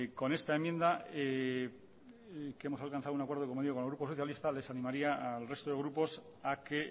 con esta enmienda que hemos alcanzado un acuerdo con el grupo socialista les animaría al resto de grupos a que